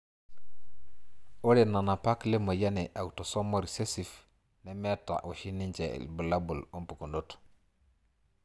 Ore nanapak lemoyian e autosomal recessive nemeta oshi ninje ibulabul wompukunot.